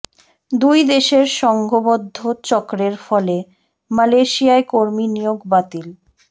দুই দেশের সংঘবদ্ধ চক্রের ফলে মালয়েশিয়ায় কর্মী নিয়োগ বাতিল